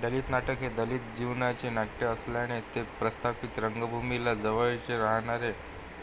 दलित नाटक हे दलित जीवनाचे नाट्य असल्याने ते प्रस्थापित रंगभूमीला जवळचे राहणार